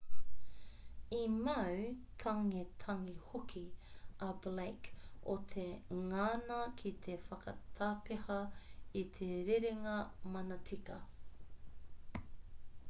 i mau tangetange hoki a blake o te ngana ki te whakatapeha i te rerenga manatika